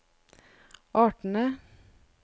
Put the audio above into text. artene